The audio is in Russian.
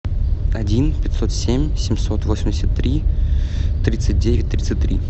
один пятьсот семь семьсот восемьдесят три тридцать девять тридцать три